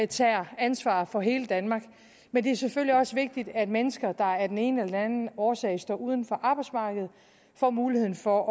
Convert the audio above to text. tager ansvar for hele danmark men det er selvfølgelig også vigtigt at mennesker der af den ene eller den anden årsag står uden for arbejdsmarkedet får muligheden for